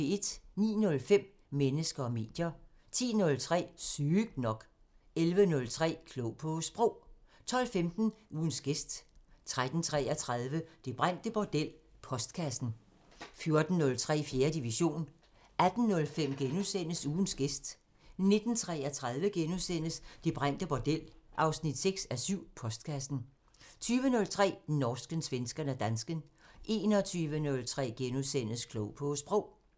09:05: Mennesker og medier 10:03: Sygt nok 11:03: Klog på Sprog 12:15: Ugens gæst 13:33: Det brændte bordel 6:7 – Postkassen 14:03: 4. division 18:05: Ugens gæst * 19:33: Det brændte bordel 6:7 – Postkassen * 20:03: Norsken, svensken og dansken 21:03: Klog på Sprog *